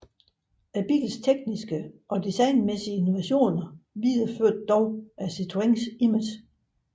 Bilens tekniske og designmæssige innovationer videreførte dog Citroëns image